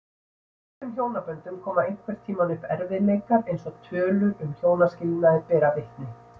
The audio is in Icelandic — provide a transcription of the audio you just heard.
Í flestum hjónaböndum koma einhvern tímann upp erfiðleikar eins og tölur um hjónaskilnaði bera vitni.